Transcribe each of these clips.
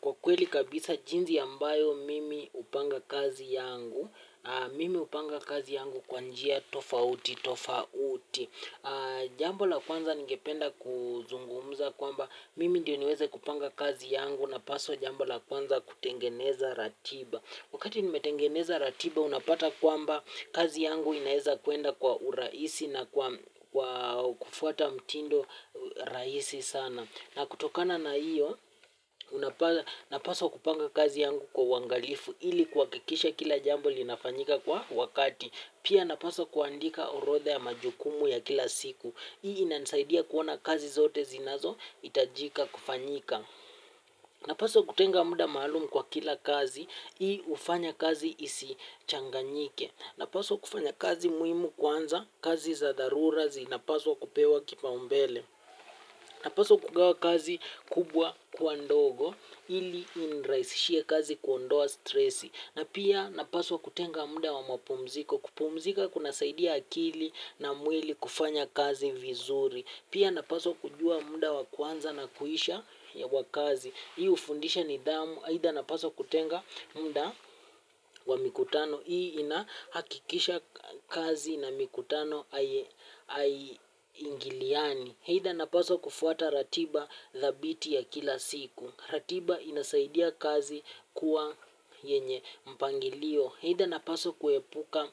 Kwa kweli kabisa jinsi ambayo mimi hupanga kazi yangu, mimi hupanga kazi yangu kwa njia tofauti, tofauti. Jambo la kwanza ningependa kuzungumuza kwamba mimi ndio niweze kupanga kazi yangu napaswa jambo la kwanza kutengeneza ratiba. Wakati nimetengeneza ratiba unapata kwamba kazi yangu inaeza kwenda kwa urahisi na kufuata mtindo rahisi sana. Na kutokana na hiyo, napaswa kupanga kazi yangu kwa uwangalifu ili kuhakikisha kila jambo linafanyika kwa wakati. Pia napaswa kuandika orotha ya majukumu ya kila siku. Hii inanisaidia kuona kazi zote zinazohitajika kufanyika. Napaswa kutenga muda maalumu kwa kila kazi, hii hufanya kazi isi changanyike. Napaswa kufanya kazi muhimu kwanza, kazi za dharura zinapaswa kupewa kipaumbele. Napaswa kugawa kazi kubwa kuwa ndogo ili inirahisishie kazi kuondoa stresi na pia napaswa kutenga muda wa mapumziko kupumzika kunasaidia akili na mwili kufanya kazi vizuri pia napaswa kujua muda wa kwanza na kuisha ya wakazi hii hufundisha nidhamu aidha napaswa kutenga muda wa mikutano hii inahakikisha kazi na mikutano hai ingiliani aidha napaswa kufuata ratiba dhabiti ya kila siku. Ratiba inasaidia kazi kuwa yenye mpangilio. Aidha napaswa kuepuka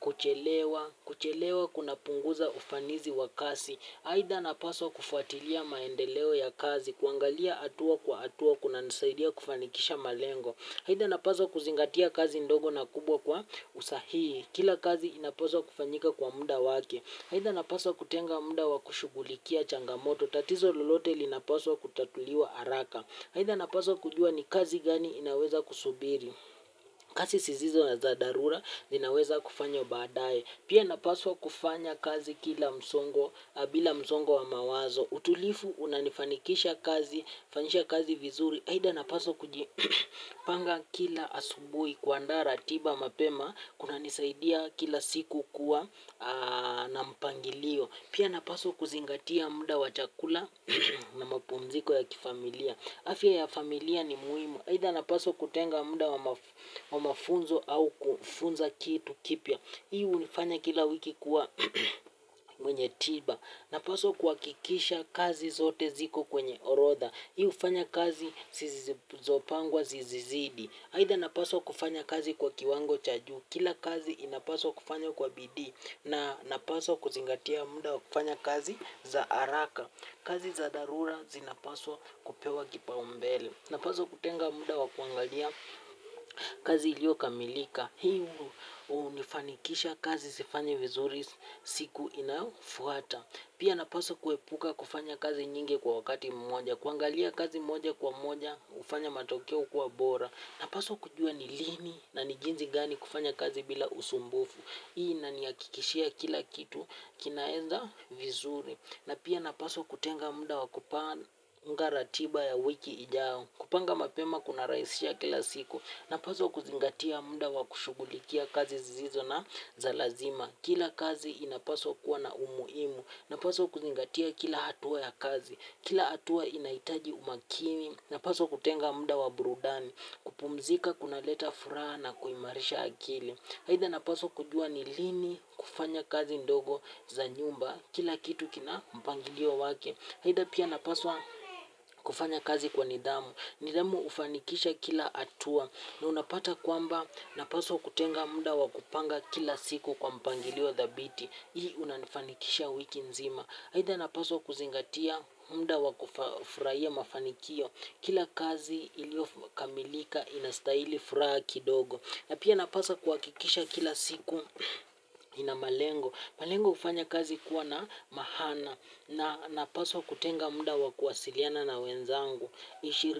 kuchelewa kuchelewa kunapunguza ufanisi wa kazi aidha napaswa kufuatilia maendeleo ya kazi, kuangalia hatua kwa hatua, kunanisaidia kufanikisha malengo. Aidha napaswa kuzingatia kazi ndogo na kubwa kwa usahihi. Kila kazi inapaswa kufanyika kwa muda wake. Aidha napaswa kutenga muda wa kushugulikia changamoto, tatizo lolote linapaswa kutatuliwa haraka. Aidha napaswa kujua ni kazi gani inaweza kusubiri. Kazi zisizo na za dharura, zinaweza kufanya baadaye. Pia napaswa kufanya kazi kila msongo, bila msongo wa mawazo. Utulivu, unanifanikisha kazi, fanyisha kazi vizuri aidha napaswa kujipanga kila asubuhi kuandaa, ratiba, mapema kunanisaidia kila siku kuwa na mpangilio. Pia napaswa kuzingatia muda wa chakula na mapumziko ya kifamilia. Afya ya familia ni muhimu aidha napaswa kutenga muda wa mafunzo au kufunza kitu kipya. Hii hunifanya kila wiki kuwa mwenye tiba. Napaswa kuhakikisha kazi zote ziko kwenye orotha. Hii hufanya kazi zopangwa zizizidi. Aidha napaswa kufanya kazi kwa kiwango cha juu. Kila kazi inapaswa kufanywa kwa bidii. Na napaswa kuzingatia muda wa kufanya kazi za haraka. Kazi za dharura zinapaswa kupewa kipaumbele. Napaswa kutenga muda wa kuangalia kazi iliokamilika. Hii hunifanikisha kazi zifanywe vizuri siku inayofuata. Pia napaswa kuepuka kufanya kazi nyingi kwa wakati mmoja, kuangalia kazi moja kwa moja, hufanya matokeo kuwa bora. Napaswa kujua ni lini na ni jinzi gani kufanya kazi bila usumbufu. Hii inanihakikishia kila kitu, kinaenda vizuri. Na pia napaswa kutenga muda wa kupanga ratiba ya wiki ijao, kupanga mapema kunarahisisha kila siku. Napaswa kuzingatia muda wa kushugulikia kazi zisizo na za lazima. Kila kazi inapaswa kuwa na umuhimu. Napaswa kuzingatia kila hatua ya kazi. Kila hatua inahitaji umakini. Napaswa kutenga muda wa burudani. Kupumzika kuna leta furaha na kuimarisha akili aidha napaswa kujua ni lini kufanya kazi ndogo za nyumba. Kila kitu kina mpangilio wake aidha pia napaswa kufanya kazi kwa nidhamu. Nidhamu hufanikisha kila hatua. Na unapata kwamba napaswa kutenga muda wa kupanga kila siku kwa mpangilio thabiti. Hii unanifanikisha wiki nzima aidha napaswa kuzingatia muda wa kufurahia mafanikio. Kila kazi iliokamilika inastahili furaha kidogo. Na pia napaswa kuhakikisha kila siku ina malengo malengo hufanya kazi kuwa na maana na napswa kutenga muda wa kuwasiliana na wenzangu.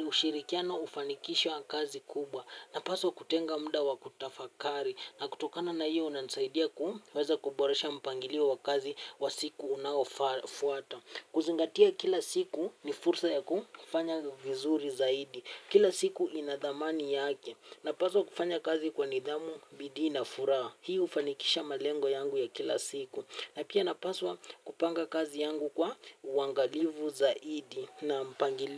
Ushirikiano hufanikisha kazi kubwa. Napaswa kutenga muda wa kutafakari na kutokana na hiyo inanisaidia kuweza kuboresha mpangilio wa kazi wa siku unaofuata. Kuzingatia kila siku ni fursa ya kufanya vizuri zaidi. Kila siku inadhamani yake. Napaswa kufanya kazi kwa nidhamu bidii na furaha. Hii hufanikisha malengo yangu ya kila siku. Napia napaswa kupanga kazi yangu kwa uangalifu zaidi na mpangilio.